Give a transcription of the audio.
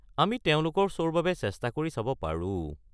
আমি তেওঁলোকৰ শ্ব'ৰ বাবে চেষ্টা কৰি চাব পাৰো।